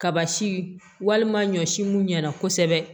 Kaba si walima ɲɔsi mun ɲɛna kosɛbɛ